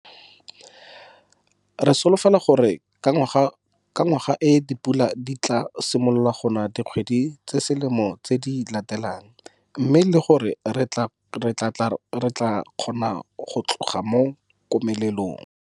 Re solofela gore ka ngwaga e dipula di tlaa simolola go na ke dikgwedi tse selemo tse di latelang, mme le gore re tlaa kgona go tloga mo komelelong.